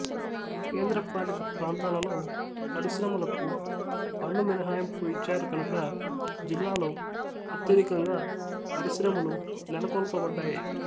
కేంద్రపాలిత ప్రాంతాలలో పరిశ్రమలకు పన్ను మినహాయింపు ఇచ్చారు కనుక జిల్లాలో అత్యధికంగా పరిశ్రమలు నెలకొల్పబడ్డాయి